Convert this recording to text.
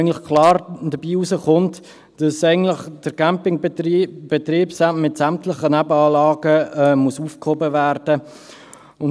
Eigentlich kommt dort klar heraus, dass der Campingbetrieb mit sämtlichen Nebenanlangen aufgehoben werden muss.